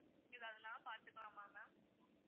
ஏதாவதுன்னா பாத்துக்கலாமா ma'am